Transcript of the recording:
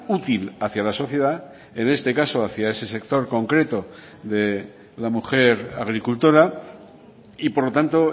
útil hacia la sociedad en este caso hacia ese sector concreto de la mujer agricultora y por lo tanto